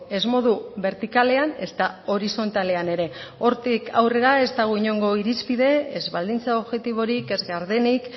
ez modu bertikalean ezta horizontalean ere hortik aurrera ez dago inongo irizpide ez baldintza objektiborik ez gardenik